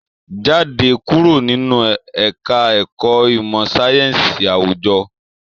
Jáde kúrò nínú ẹka ẹ̀kọ́ ìmọ sáyẹnsì awujọ!